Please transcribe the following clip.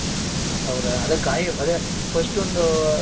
ಹೌದ ಅದೆ ಕಾಯ್ First ಒಂದು.